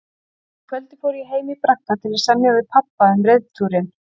Um kvöldið fór ég heim í bragga til að semja við pabba um reiðtúrinn.